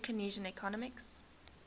new keynesian economics